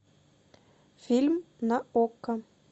фильм на окко